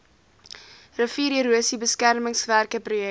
riviererosie beskermingswerke projek